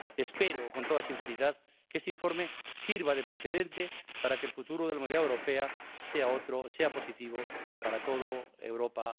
Espero con toda sinceridad que este informe sirva de precedente para que el futuro de la movilidad europea sea otro, sea positivo para toda Europa.